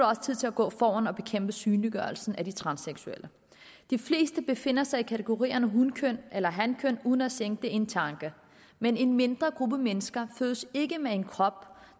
også tid til at gå foran og bekæmpe synliggørelsen af de transseksuelle de fleste befinder sig i kategorien hunkøn eller hankøn uden at skænke det en tanke men en mindre gruppe mennesker fødes ikke med en krop